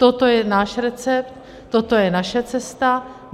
Toto je náš recept, toto je naše cesta.